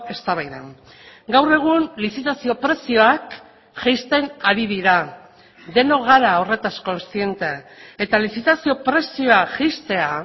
eztabaidan gaur egun lizitazio prezioak jaisten ari dira denok gara horretaz kontziente eta lizitazio prezioa jaistea